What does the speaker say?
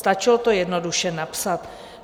Stačilo to jednoduše napsat.